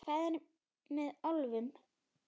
Hvað er með álfum?